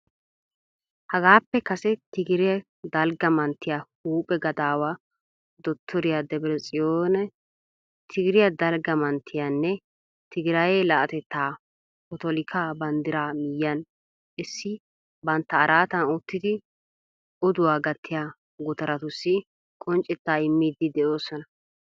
Haagaappe kase Tigrayee dalgga manttiya huuphphe gadaawaa dotoriyaa Debretsiyooni Tigiraye dalgga manttiyanne tigirayee laa'atetta potolikkaa banddiraa miyiyaan essidi banttaa araatan uttidi uduwaa gattiyaa gutaratussi qonccetaa immiidi de'oosona.